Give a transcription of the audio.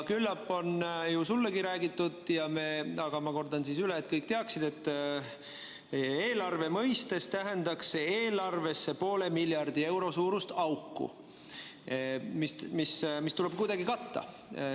Küllap on sullegi räägitud, aga ma kordan üle, et kõik teaksid, et eelarve mõistes tähendaks see eelarvesse poole miljardi euro suurust auku, mis tuleb kuidagi katta.